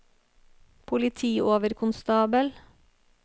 politioverkonstabel